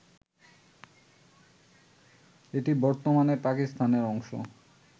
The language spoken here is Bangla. এটি বর্তমানে পাকিস্তানের অংশ